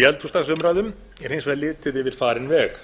í eldhúsdagsumræðum er hins vegar litið yfir farinn veg